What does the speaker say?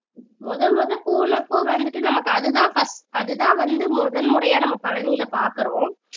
முதல் முதல் போனப்ப வந்துட்டு நமக்கு அதுதான் first அதுதான் வந்து முதல் முறையா நம்ம பழனியில பார்க்கிறோம்